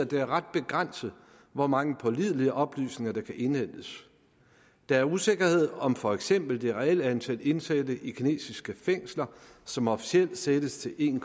det er ret begrænset hvor mange pålidelige oplysninger der kan indhentes der er usikkerhed om for eksempel det reelle antal indsatte i kinesiske fængsler som officielt sættes til en